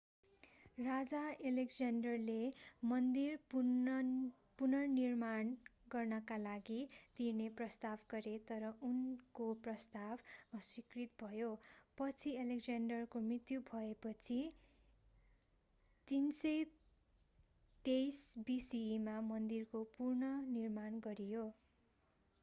राजा एलेक्जेन्डरले मन्दिर पुनर्निर्माण गर्नका लागि तिर्ने प्रस्ताव गरे तर उनको प्रस्ताव अस्वीकृत भयो पछि एलेक्जेन्डरको मृत्यु भएपछि 323 bce मा मन्दिरको पुनर्निर्माण गरियो